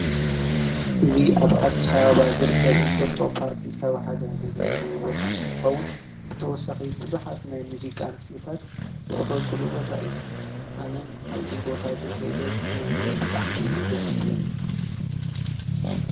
እዚ ኣብ ኣዲስኣበባ ዝርከብ እንጠጦ ፓርክ ዝተብሃለ መዝናነዩ ቦታ እንትኸዉን ብተወሳኺ ብዙሓት ናይ ሙዚቃ ምስልታት ዝቅረፅሉ ቦታ እዩ። ኣነ ኣብዚ ቦታ እዚ ከይደ ክዝናነ ብጣዕሚ እዩ ደስ ዝብለኒ።